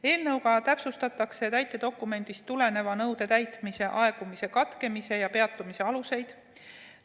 Eelnõuga täpsustatakse täitedokumendist tuleneva nõude täitmise aegumise katkemise ja peatumise aluseid.